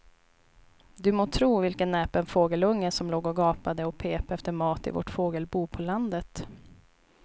Du må tro vilken näpen fågelunge som låg och gapade och pep efter mat i vårt fågelbo på landet.